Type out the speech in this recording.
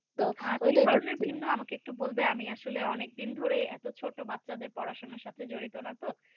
কি কারণে ভিন্ন আমাকে এটা বলবে আমি আসলে অনেক দিন ধরে এতো ছোট বাচ্চাদের সাথে জড়িত না তো